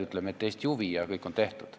Ütlen, et see on Eesti huvi, ja kõik on tehtud.